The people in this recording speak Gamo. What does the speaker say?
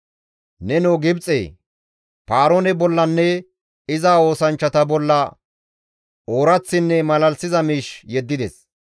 Nenoo Gibxe! Paaroone bollanne iza oosanchchata bolla ooraththinne malalisiza miish yeddides.